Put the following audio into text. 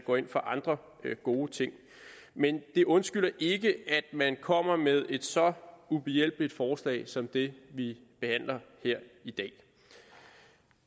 går ind for andre gode ting men det undskylder ikke at man kommer med et så ubehjælpsomt forslag som det vi behandler her i dag